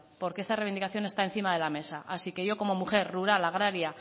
porque esta reivindicación están encima de la mesa así que yo como mujer rural agraria